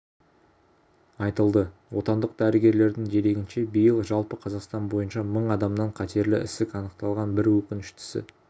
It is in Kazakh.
айтылды отандық дәрігерлердің дерегінше биыл жалпы қазақстан бойынша мың адамнан қатерлі ісік анықталған бір өкініштісі